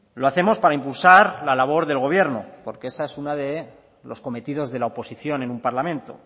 lo hacemos para impulsar la labor del gobierno porque ese es una de los cometidos de la oposición en un parlamento